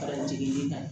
Kalan jiginni na